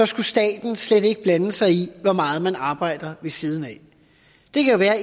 skal staten slet ikke blande sig i hvor meget man arbejder ved siden af det kan være